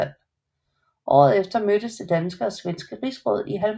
Året efter mødtes det danske og svenske rigsråd i Halmstad